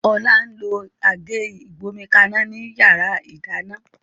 Ola n lo Àgé ìgbómikaná ni yàrá ìdáná